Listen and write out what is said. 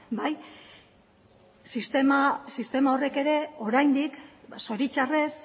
sistema horrek ere oraindik zoritxarrez